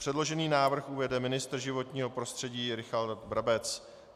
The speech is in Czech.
Předložený návrh uvede ministr životního prostředí Richard Brabec.